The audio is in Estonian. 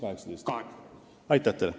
Aitäh teile!